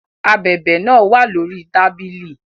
Ábèbè náà wà lórí tábìlì